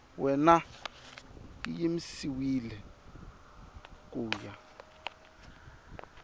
wena yi yimisiwile ku ya